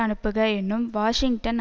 அனுப்புக எனும் வாஷிங்டன்